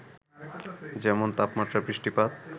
যেমন, তাপমাত্রা, বৃষ্টিপাত,